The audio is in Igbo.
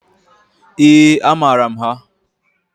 Eeǃ A maara m ha.